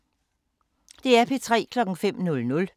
DR P3